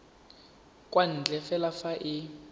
kwa ntle fela fa e